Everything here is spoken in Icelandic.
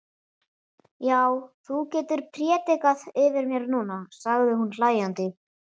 Já, þú getur prédikað yfir mér núna, sagði hún hlæjandi.